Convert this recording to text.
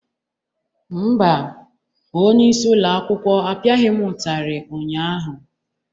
Mba, onyeisi ụlọ akwụkwọ apịaghị m ụtarị ụnyaahụ.